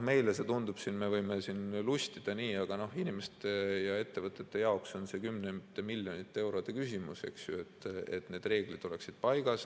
Meie võime siin lustida, aga inimeste ja ettevõtete jaoks on see kümnete miljonite eurode küsimus, et need reeglid oleksid paigas.